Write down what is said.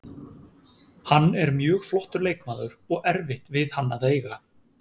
Hann er mjög flottur leikmaður og erfitt við hann að eiga.